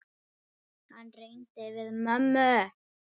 Hann reyndi við mömmu!